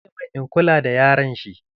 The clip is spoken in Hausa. Ya ce min, in kula da yaron shi!